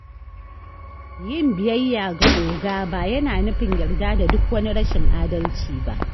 Yin biyayya ga “oga” ba yana nufin yarda da duk wani rashin adalci ba.